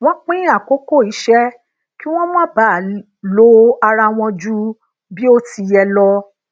wón pin akoko ise ki won ma baa lo ara won ju bi o ti ye lo